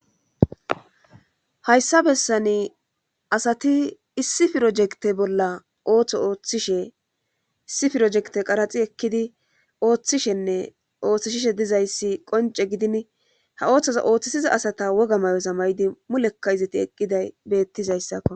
hayssa bessani asati issi pirojekte bolla ooththo ooththishe issi firojekte qaraxi ekkidi ooththishenne ooththishishe dizayssi qonce gidin ha ooththoza ooththisiza asata woga mayoza mayidi mulekka izati eqqiday beettizayssakko